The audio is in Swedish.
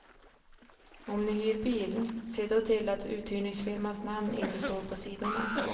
Om ni hyr bil, se då till att uthyrningsfirmans namn inte står på sidorna.